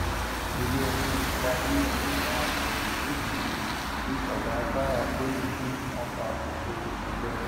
iléẹjọ ti gba bẹẹlì àwọn akòròyìn méjì tí ọgá kwara poli ni wọn ba òun lórúkọ jẹ